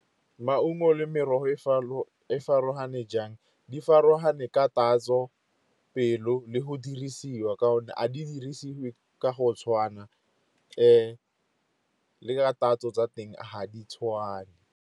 Maungo le merogo e farologane jang, di farologane ka tatso, pelo le go dirisiwa. Ka gonne a di dirisiwe ka go tshwana , le ka tatso tsa teng ga di tshwane.